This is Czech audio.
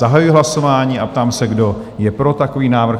Zahajuji hlasování a ptám se, kdo je pro takový návrh?